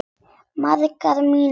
Margar mínútur líða.